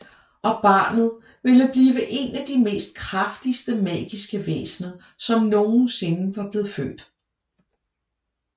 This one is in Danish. Og barnet ville være en af de mest kraftigste magiske væsner som nogensinde var blevet født